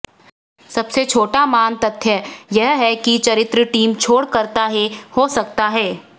सबसे छोटा मान तथ्य यह है कि चरित्र टीम छोड़ करता है हो सकता है